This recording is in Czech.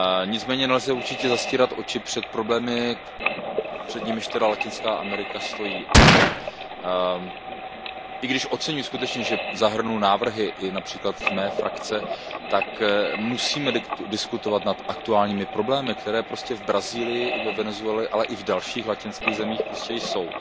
Nicméně nelze určitě zavírat oči nad problémy, před nimiž Latinská Amerika stojí. I když oceňuji, že zahrnul návrhy i například z mé frakce, tak musíme diskutovat nad aktuálními problémy, které prostě v Brazílii a ve Venezuele, ale i v dalších latinských zemích prostě jsou.